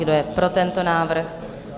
Kdo je pro tento návrh?